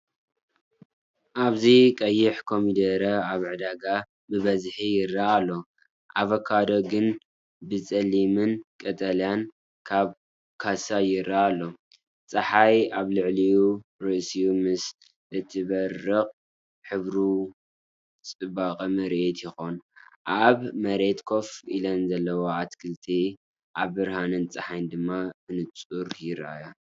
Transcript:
ኣብዚ ቀይሕ ኮሚደረ ኣብ ዕዳጋ ብብዝሒ ይረአ ኣሎ። ኣቮካዶ ግን ብጸሊምን ቀጠልያን ኣብ ካሳ ይረአ ኣሎ። ጸሓይ ኣብ ልዕሊ ርእሱ ምስ እትበርቕ ሕብሩ ፅበቅ ምርኢት ይኮን። ኣብ መሬት ኮፍ ኢለን ዘለዋ ኣትክልቲ፣ ኣብ ብርሃን ጸሓይ ድማ ብንጹር ይረኣያ።